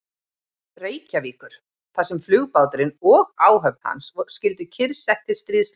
Reykjavíkur, þar sem flugbáturinn og áhöfn hans skyldu kyrrsett til stríðsloka.